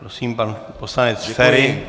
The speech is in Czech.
Prosím, pan poslanec Feri.